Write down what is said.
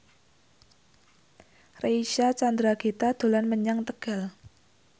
Reysa Chandragitta dolan menyang Tegal